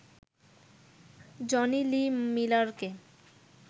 Johnny Lee মিলারকে